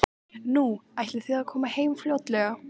Nú, ætlið þið að koma heim fljótlega?